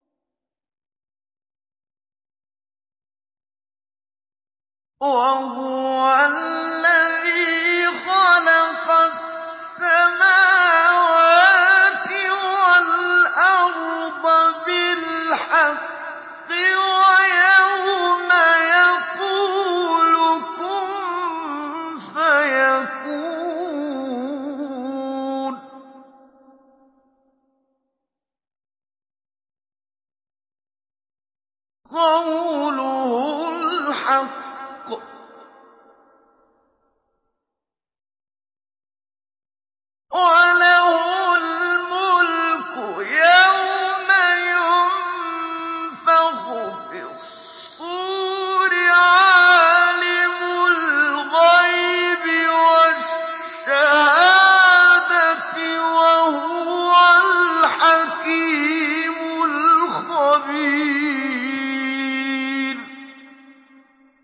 وَهُوَ الَّذِي خَلَقَ السَّمَاوَاتِ وَالْأَرْضَ بِالْحَقِّ ۖ وَيَوْمَ يَقُولُ كُن فَيَكُونُ ۚ قَوْلُهُ الْحَقُّ ۚ وَلَهُ الْمُلْكُ يَوْمَ يُنفَخُ فِي الصُّورِ ۚ عَالِمُ الْغَيْبِ وَالشَّهَادَةِ ۚ وَهُوَ الْحَكِيمُ الْخَبِيرُ